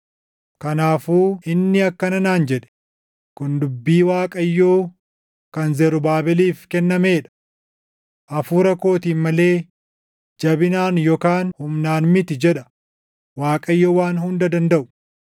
Kanaafuu inni akkana naan jedhe; “Kun dubbii Waaqayyoo kan Zarubaabeliif kennamee dha: ‘Hafuura kootiin malee jabinaan yookaan humnaan miti’ jedha Waaqayyo Waan Hunda Dandaʼu.